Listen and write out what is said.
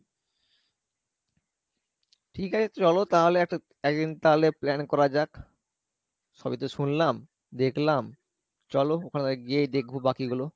ঠিক আছে চলো তাহলে একটা একদিন তাহলে plan করা যাক সবই তো শুনলাম দেখলাম চলো ওখানে তালে গিয়ে দেখবো বাকি গুলো